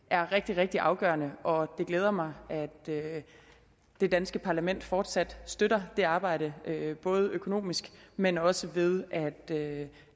er rigtig rigtig afgørende og det glæder mig at det danske parlament fortsat støtter det arbejde både økonomisk men også ved